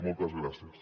moltes gràcies